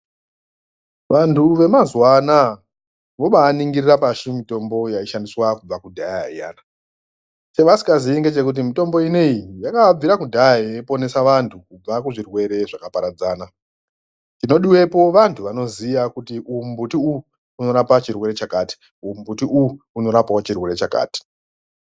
Vantu vemazuwa anaa vobaaningirira pashi mitombo yaishandiswa kubva kudhaya iyana chevasikazii ngechekuti mitombo inei yakabvira kudhaya yeiponesa vanthu kubva kuzvirwere zvakaparadzana, chinodiwepo vanthu vanoziya kuti uwu mumbuti uwu unorapa chirwere chakati, uwu mumbuti uwu unorapawo chirwere chakati.